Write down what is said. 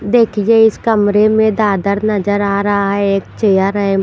देखिए इस कमरे में दादर नजर आ रहा है एक चेयर है।